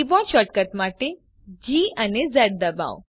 keyboard shortcut માટે G ડબાઓ